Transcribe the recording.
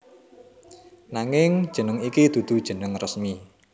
Nanging jeneng iki dudu jeneng resmi